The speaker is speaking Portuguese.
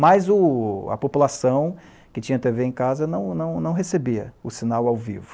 Mas a população que tinha tê vê em casa não recebia o sinal ao vivo.